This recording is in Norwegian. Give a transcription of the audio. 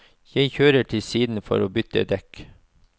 Jeg kjører til siden for å bytte dekk.